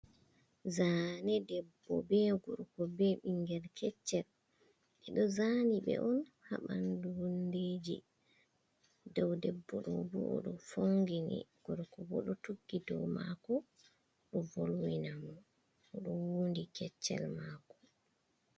Zane debbo be gorko be ɓingel keccel. Ɓe ɗo zani ɓe on haa bandu hundeji. Dow debbo ɗo ɓo o ɗo fongini gurko bo ɗo tuggi dow mako ɗo volwinam o ɗo wuundi keccel mako.